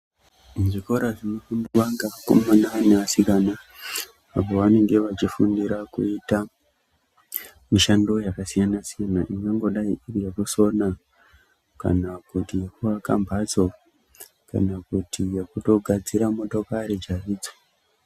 Zvikora zvinofundwa ngevakomana nevasikana apo vanenge vachifundira kuita mishando yakasiyana-siyana, inongodai iri yekusona kana kuti kuaka mbatso. Kana kuti yekutogadzira motokari chaidzo.